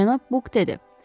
Cənab Buk dedi.